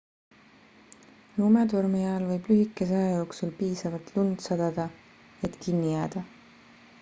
lumetormi ajal võib lühikese aja jooksul piisavalt lund sadada et kinni jääda